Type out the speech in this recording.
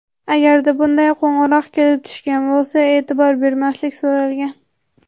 Agarda bunday qo‘ng‘iroq kelib tushgan bo‘lsa, e’tibor bermaslik so‘ralgan.